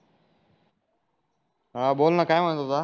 हा बोल ना काय म्हणत होता